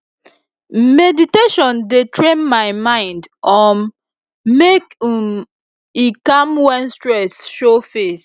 meditation dey train my mind um make um e calm when stress show face